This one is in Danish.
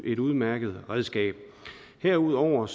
et udmærket redskab herudover